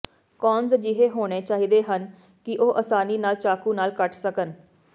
cones ਅਜਿਹੇ ਹੋਣੇ ਚਾਹੀਦੇ ਹਨ ਕਿ ਉਹ ਆਸਾਨੀ ਨਾਲ ਚਾਕੂ ਨਾਲ ਕੱਟ ਸਕਣ